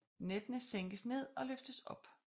Nettene sænkes ned og løftes op